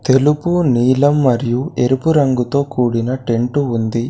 తెలుపు నీలం మరియు ఎరుపు రంగుతో కూడిన టెంటు ఉంది.